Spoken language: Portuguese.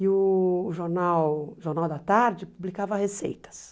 E o Jornal Jornal da Tarde publicava receitas.